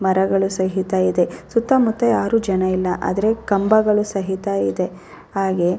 ಮರಗಳು ಸಹಿತ ಇದೆ. ಸುತ್ತ ಮುತ್ತ ಯಾರು ಜನ ಇಲ್ಲ. ಆದರೆ ಕಂಬಗಳು ಸಹಿತ ಇದೆ ಹಾಗೆ --